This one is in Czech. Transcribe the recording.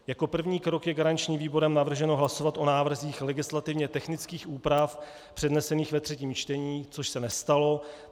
Jako první krok je garančním výborem navrženo hlasovat o návrzích legislativně technických úprav přednesených ve třetím čtení - což se nestalo.